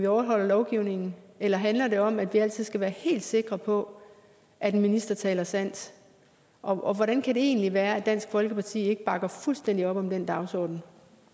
overholde lovgivningen eller handler det om at vi altid skal være helt sikre på at en minister taler sandt og hvordan kan det egentlig være at dansk folkeparti ikke bakker fuldstændig op om den dagsorden